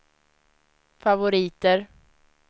favoriter